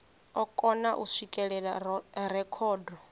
o kona u swikelela rekhodo